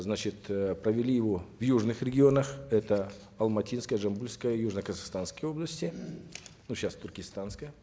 значит э провели его в южных регионах это алматинская жамбылская южно казахстанская области ну сейчас туркестанская